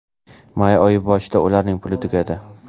May oyi boshida ularning puli tugadi.